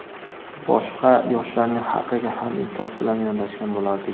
boshqa yoshlarning haqiga ham insof bilan yondashgan bo‘lardik.